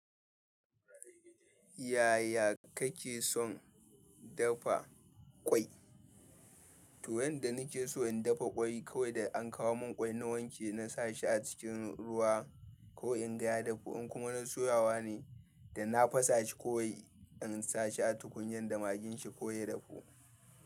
Yaya kake son dafa ƙwai? To, yanda nake so in dafa ƙwai, kawai da an kawo mun ƙwai na wanke na sa shi a cikin ruwa ko in ga ya dafu, in kuma na soyawa ne, da na fasa shi kawai in sa shi a tukunyan da magin shi ko ya dafu.